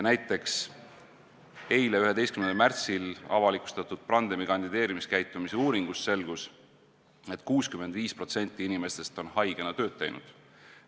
Aga eile, 11. märtsil avalikustatud agentuuri Brandem kandideerimiskäitumise uuringust selgus, et 65% inimestest on haigena tööd teinud.